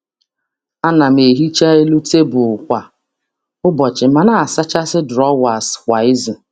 A na m ehicha elu tebụl kwa ụbọchị ma na-asachasị drọwas kwa izu.